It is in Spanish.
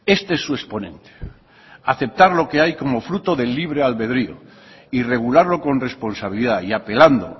este es su exponente aceptar lo que hay como fruto del libre albedrio y regularlo con responsabilidad y apelando